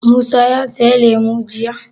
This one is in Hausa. Musa ya saya lemu jiya?